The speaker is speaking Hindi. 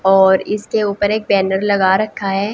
और इसके ऊपर एक टेंडर लगा रखा है।